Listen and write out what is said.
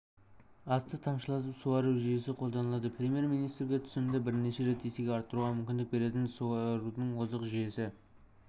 асты тамшылатып суару жүйесі қолданылады премьер-министрге түсімді бірнеше есеге арттыруға мүмкіндік беретін суарудың озық жүйесі